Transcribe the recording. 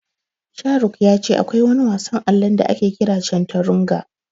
Sharuk ya ce akwai wani wasan allon da ake kira Canturanga.